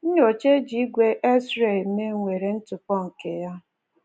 Nnyocha e ji ígwè X-ray eme nwere ntụpọ nke ya.